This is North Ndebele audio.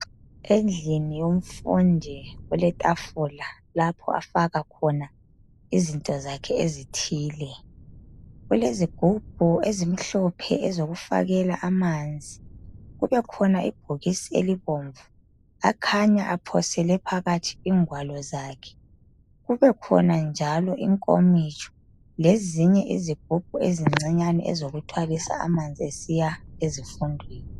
Endlini yomfundi eletafula lapho afaka khona izinto zakhe ezithile. Kulezigubhu ezimhlophe ezokufakela amanzi, kubekhona ibhokisi elibomvu akhanya aphosele phakathi ingwalo zakhe. Kubekhona njalo inkomitsho lezinye izigubhu ezincinyane ezokuthwalisa amanzi esiya ezifundweni.